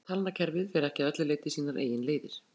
Danska talnakerfið fer ekki að öllu leyti sínar eigin leiðir.